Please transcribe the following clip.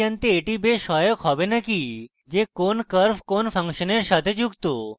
এটি জানতে এটি বেশ সহায়ক হবে না কি যে কোন curve কোন ফাংশনের সাথে যুক্ত